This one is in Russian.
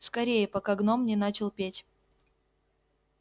скорее пока гном не начал петь